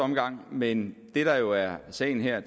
omgang men det der jo er sagen her